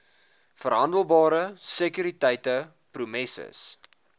verhandelbare sekuriteite promesses